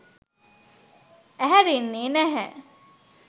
ඇහැරෙන්නෙ නැහැ.